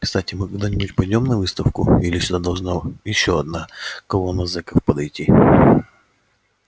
кстати мы когда-нибудь пойдём на выставку или сюда должна ещё одна колонна зеков подойти